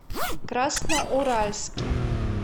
красноуральске